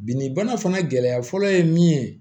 Bi ni bana fana gɛlɛya fɔlɔ ye min ye